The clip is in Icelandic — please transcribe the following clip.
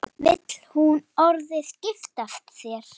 Vill hún orðið giftast þér?